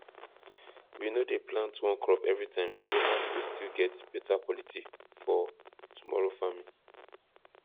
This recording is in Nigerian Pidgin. we no dey plant one crop everytime so land go still get beta quality for tomorrow farming